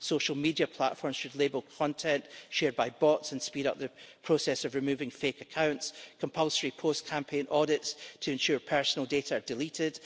Social media platforms should label content shared by bots and speed up the process of removing fake accounts, and compulsory post campaign audits should be conducted to ensure personal data are deleted.